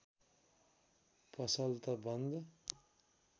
पसल त बन्द